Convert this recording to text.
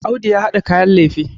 Audu ya hada kayan lefe